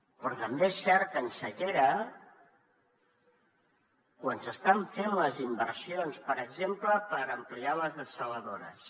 però també és cert que en sequera quan s’estan fent les inversions per exemple per ampliar les dessaladores